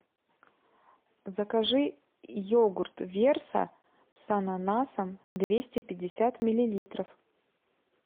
закажи йогурт верса с ананасом двести пятьдесят миллилитров